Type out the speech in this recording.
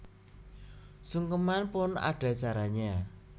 Sungkeman pun ada caranya